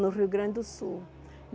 no Rio Grande do Sul.